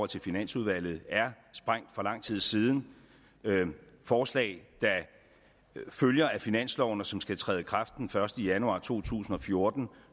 til finansudvalget er sprængt for lang tid siden forslag der følger af finansloven og som skal træde i kraft den første januar to tusind og fjorten